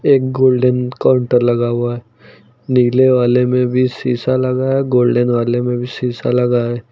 एक golden counter लगा हुआ है नीले वाले में भी शीशा लगा है गोल्डन वाले में भी शीशा लगा है।